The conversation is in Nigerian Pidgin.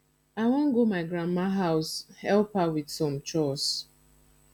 i wan go my grandma house help her with some chores